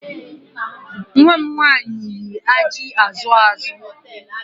Nwa m nwanyị yi ajị azụ azụ